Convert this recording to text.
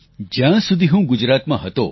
જ્યાં સુધી હું ગુજરાતમાં હતો